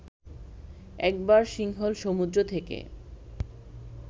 একবার সিংহল সমুদ্র থেকে